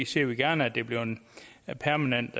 ser vi gerne at det bliver en permanent